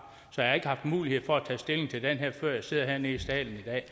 så jeg har ikke haft mulighed for at tage stilling til den her før jeg sidder hernede i salen i dag